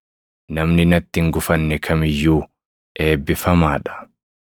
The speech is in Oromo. Namni natti hin gufanne kam iyyuu eebbifamaa dha.”